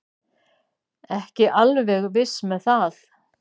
Ekki alveg viss með það.